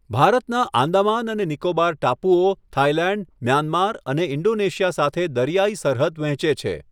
ભારતના આંદામાન અને નિકોબાર ટાપુઓ થાઈલેન્ડ, મ્યાનમાર અને ઈન્ડોનેશિયા સાથે દરિયાઈ સરહદ વહેંચે છે.